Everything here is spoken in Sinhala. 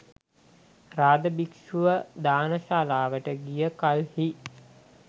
රාධ භික්ෂුව දාන ශාලාවට ගිය කල්හි